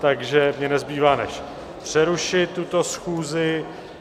Takže mně nezbývá než přerušit tuto schůzi.